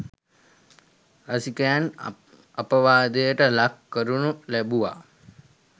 රසිකයන් අපවාදයට ලක් කරනු ලැබුවා.